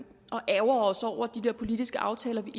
ærgrer os over de der politiske aftaler vi